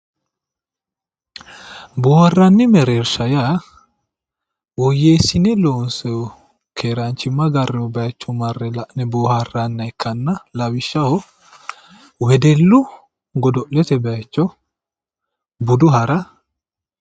Booharanni mereersha yaa woyyeessine loonsoniha keeranchima agrenna la'nanni booharanniha ikkanna lawishshaho wedellu godo'lete bayicho, budu hara